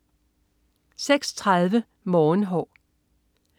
06.30 Morgenhår